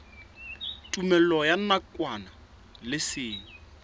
tumellano ya nakwana le seng